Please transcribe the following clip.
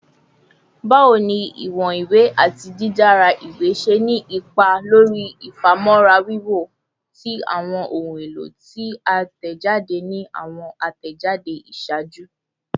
Bawo ni iwọn iwe ati didara iwe ṣe ni ipa lori ifamọra wiwo ti awọn ohun elo ti a tẹjade ni awọn atẹjade iṣaaju?